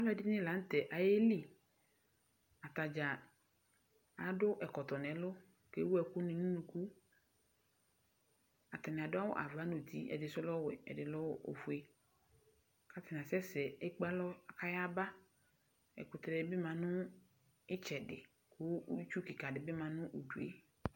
Alʋ ɛdini la nʋ tɛ ayeli Atadza adʋ ɛkɔtɔ n'ɛlʋ kʋ ewu ɛkʋ ni nʋ unuku Atani adʋ awʋ ava nʋ uti, ɛdi sʋ lɛ ɔwɛ, ɛdi sʋ lɛ ofue kʋ atani asɛsɛ, ekpe alɔ kayaba Ɛkʋtɛ di bi ma nʋ itsɛdi kʋ itsu kika di bi ma nʋ udu e